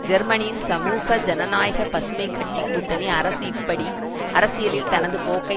ஜெர்மனியின் சமூக ஜனநாயக பசுமை கட்சி கூட்டணி அரசு இப்படி அரசியலில் தனது போக்கை